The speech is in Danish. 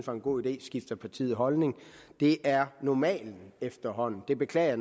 var en god idé skifter partiet holdning det er normalen efterhånden det beklager